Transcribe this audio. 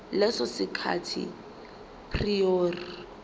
leso sikhathi prior